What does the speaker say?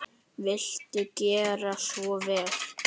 Viltu gera svo vel.